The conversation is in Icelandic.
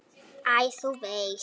Æ, þú veist.